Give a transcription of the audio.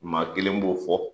Maa kelen b'o fɔ,